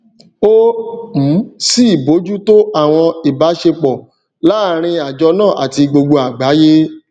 ó um sì bójútó àwọn ìbáṣepọ láàrin àjọ náà àti gbogbo àgbáyé